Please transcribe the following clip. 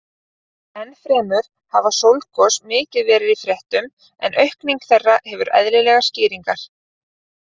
Enn fremur hafa sólgos mikið verið í fréttum en aukning þeirra hefur eðlilegar skýringar.